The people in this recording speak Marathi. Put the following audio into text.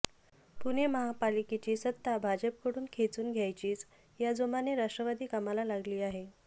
पुणे महापालिकेची सत्ता भाजपकडून खेचून घ्यायचीच या जोमानं राष्ट्रवादी कामाला लागली आहे